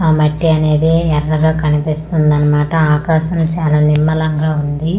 ఆ మట్టి అనేది ఎర్రగా కనిపిస్తుంది అన్నమాట ఆకాశం చాలా నిర్మలంగా ఉంది.